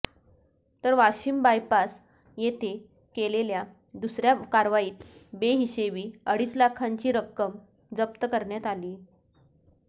तर वाशिम बायपास येथे केलेल्या दुसऱ्या कारवाईत बेहिशेबी अडीच लाखांची रक्कम जप्त करण्यात आली